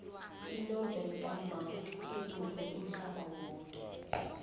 inovela kamark edumme umhlaba yoke